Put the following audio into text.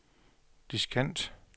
diskant